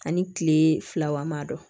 Ani kile fila walima